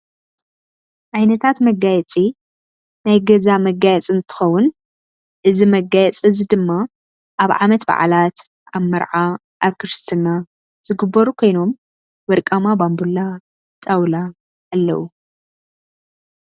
ዓይነታት መጋየፂ ናይ ገዛ መጋፂ እንትከውን እዚ መጋየፂ እዚ ድማ ኣብ ዓመት በዓላት ኣብ መርዓ ኣብ ክርስትና፣ ዝግበሩ ኮይኖም ወርቃማ ባንቡላ፣ ጣውላ ኣለው።